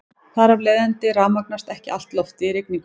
Þar af leiðandi rafmagnast ekki allt loftið í rigningu.